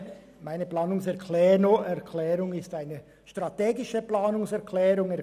Meine Planungserklärung verfolgt ein strategisches Ziel.